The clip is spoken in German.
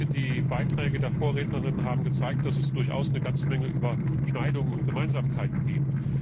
Ich denke, die Beiträge der Vorrednerinnen und Vorredner haben gezeigt, dass es durchaus eine ganze Menge Überschneidungen und Gemeinsamkeiten gibt.